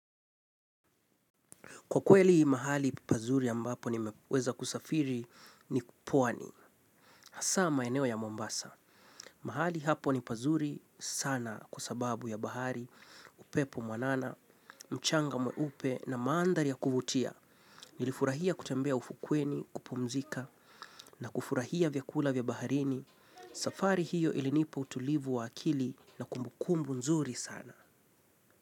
Kwa kweli mahali pazuri ambapo nimeweza kusafiri ni pwani. Hasa maeneo ya Mombasa. Mahali hapo ni pazuri sana kwa sababu ya bahari, upepo mwanana, mchanga mweupe na mandhari ya kuvutia. Nilifurahia kutembea ufukweni, kupumzika na kufurahia vyakula vya baharini. Safari hiyo ilinipa utulivu wa akili na kumbukumbu nzuri sana.